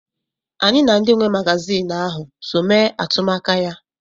Anyị na ndị nwe magazinụ ahụ so mee atụmaka ya.